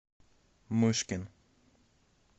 мышкин